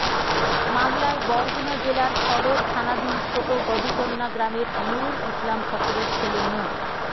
মামলায় বরগুনা জেলার সদর থানাধীন ছোট গবিচন্না গ্রামের নুরুল ইসলাম ফকিরের ছেলে মো